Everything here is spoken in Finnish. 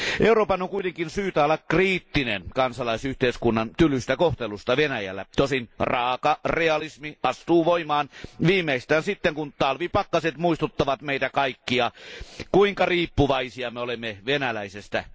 Euroopan on kuitenkin syytä olla kriittinen kansalaisyhteiskunnan tylystä kohtelusta Venäjällä, tosin raaka realismi astuu voimaan viimeistään sitten, kun talvipakkaset muistuttavat meitä kaikkia, kuinka riippuvaisia me olemme venäläisestä energiasta.